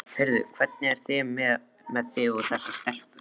Heyrðu, hvernig er með þig og þessa stelpu?